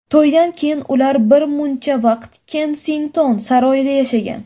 To‘ydan keyin ular bir muncha vaqt Kensington saroyida yashagan.